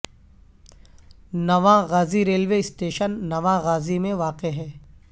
نواں Ghazi railway station Nawan Ghazi میں واقع ہے